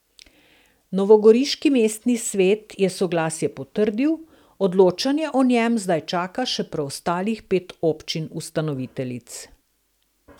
Novogoriški mestni svet je soglasje potrdil, odločanje o njem zdaj čaka še preostalih pet občin ustanoviteljic.